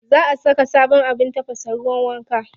Za a saka sabon abin tafasa ruwan wanka.